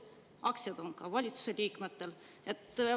Need aktsiad on valitsuse liikmetel.